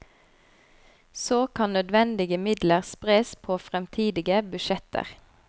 Så kan nødvendige midler spres på fremtidige budsjetter.